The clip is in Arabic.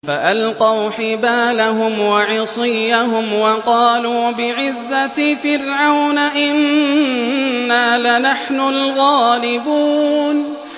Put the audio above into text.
فَأَلْقَوْا حِبَالَهُمْ وَعِصِيَّهُمْ وَقَالُوا بِعِزَّةِ فِرْعَوْنَ إِنَّا لَنَحْنُ الْغَالِبُونَ